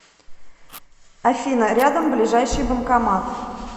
афина рядом ближайший банкомат